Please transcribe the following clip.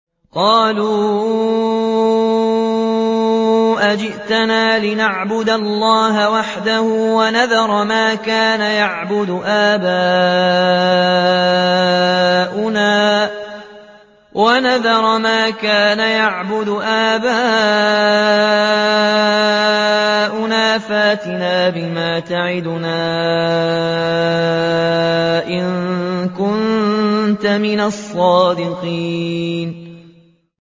قَالُوا أَجِئْتَنَا لِنَعْبُدَ اللَّهَ وَحْدَهُ وَنَذَرَ مَا كَانَ يَعْبُدُ آبَاؤُنَا ۖ فَأْتِنَا بِمَا تَعِدُنَا إِن كُنتَ مِنَ الصَّادِقِينَ